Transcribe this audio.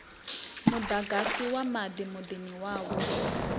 muḓagasi na maḓi muḓini wavho